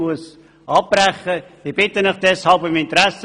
Ich sehe, dass meine Redezeit zu Ende ist.